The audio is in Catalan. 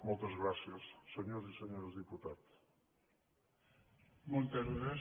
moltes gràcies senyors i senyores diputats